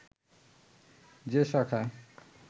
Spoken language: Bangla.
যে শাখায়